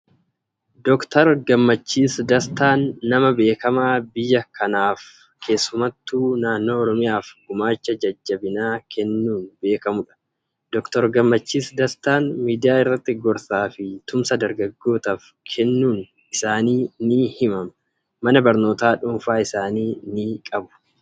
Dooktar Gammachiis Dastaan nama beekamaa biyya kanaaf, keessumattu naannoo Oromiyaaf gumaacha jajjabinaa kennuun beekamudha. Dooktar Gammachiis Dastaan miidiyaa irratti gorsaa fi tumsa dargaggootaaf kennuun isaanii ni himama. Mana barnootaa dhuunfaa isaanii ni qabu.